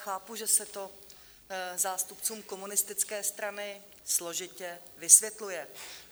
Chápu, že se to zástupcům komunistické strany složitě vysvětluje.